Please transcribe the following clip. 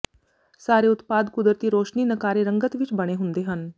ਸਾਰੇ ਉਤਪਾਦ ਕੁਦਰਤੀ ਰੌਸ਼ਨੀ ਨਕਾਰੇ ਰੰਗਤ ਵਿੱਚ ਬਣੇ ਹੁੰਦੇ ਹਨ